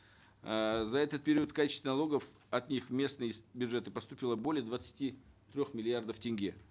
эээ за этот период в качестве налогов от них в местные бюджеты поступило более двадцати трех миллиардов тенге